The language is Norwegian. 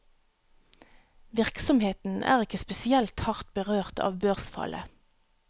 Virksomheten er ikke spesielt hardt berørt av børsfallet.